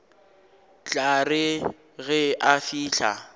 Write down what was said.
tla re ge a fihla